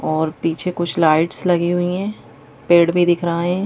और पीछे कुछ लाइट्स लगी हुई हैं पेड़ भी दिख रहा है।